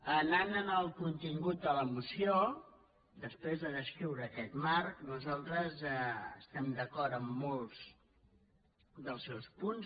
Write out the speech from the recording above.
anant al contingut de la moció després de descriure aquest marc nosaltres estem d’acord en molts dels seus punts